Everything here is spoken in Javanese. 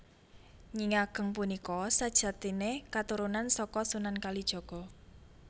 Nyi Ageng punika sajatiné katurunan saka Sunan Kalijaga